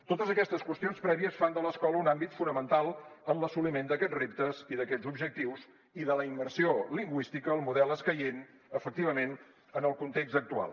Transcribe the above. totes aquestes qüestions prèvies fan de l’escola un àmbit fonamental en l’assoliment d’aquests reptes i d’aquests objectius i de la immersió lingüística el model escaient efectivament en el context actual